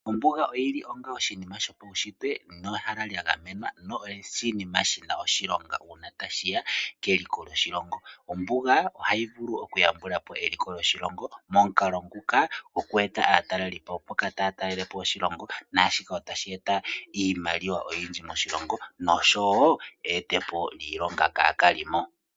Ombuga oyili onga oshinima shopaunshitwe n